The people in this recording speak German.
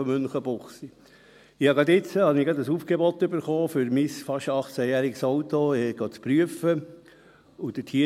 Ich habe gerade jetzt ein Aufgebot bekommen, um mein fast achtzehnjähriges Auto prüfen zu lassen.